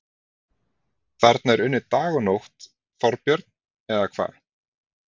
Þarna er unnið dag og nótt, Þorbjörn, eða hvað?